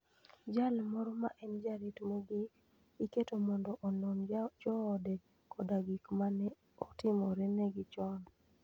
Jal moro ma en jarit mogik, iketo mondo onon joode koda gik ma ne otimorenegi chon.